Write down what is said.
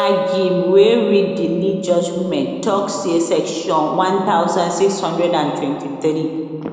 agim wey read di lead judgement tok say section one thousand six hundred and twenty three